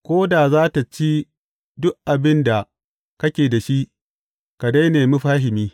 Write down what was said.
Ko da za tă ci duk abin da kake da shi, ka dai nemi fahimi.